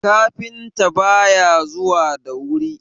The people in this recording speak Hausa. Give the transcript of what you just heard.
kafinta ba ya zuwa da wuri!